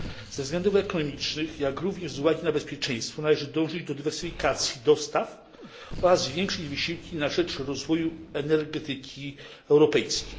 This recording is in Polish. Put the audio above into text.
Ze względów ekonomicznych, jak również z uwagi na bezpieczeństwo należy dążyć do dywersyfikacji dostaw oraz zwiększyć wysiłki na rzecz rozwoju energetyki europejskiej.